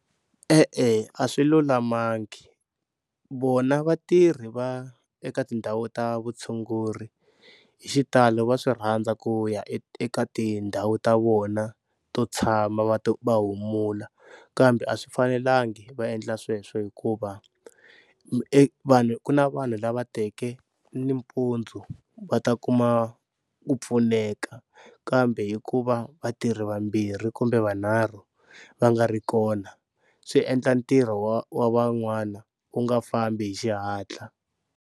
E-e a swi lulamangi vona vatirhi va eka tindhawu ta vutshunguri hi xitalo va swi rhandza ku ya eka tindhawu ta vona to tshama va va humula kambe a swi fanelangi va endla sweswo hikuva vanhu ku na vanhu lava teke nimpundzu va ta kuma ku pfuneka, kambe hikuva vatirhi vambirhi kumbe vanharhu va nga ri kona swi endla ntirho wa wa van'wana wu nga fambi hi xihatla.